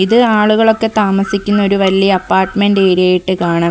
ഇത് ആളുകളൊക്കെ താമസിക്കുന്ന ഒരു വല്ല്യ അപാർട്മെന്റ് ഏരിയ ആയിട്ട് കാണാൻ ക--